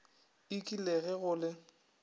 ik le ge go le